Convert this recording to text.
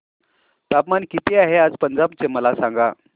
तापमान किती आहे आज पंजाब चे मला सांगा